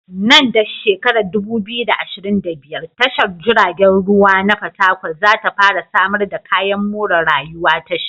Nan da 2025, tashar jiragen ruwa na fatakwal za ta fara samar da kayan more rayuwaa tashar.